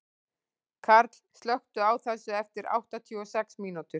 Karl, slökktu á þessu eftir áttatíu og sex mínútur.